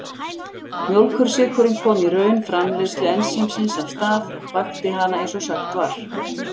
Mjólkursykurinn kom í raun framleiðslu ensímsins af stað, vakti hana eins og sagt var.